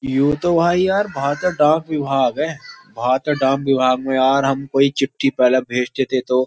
you तो भाई यार भारत डाक विभाग है भारत डाक विभाग में यार हम कोई चिट्ठी पहले भेजते थे तो --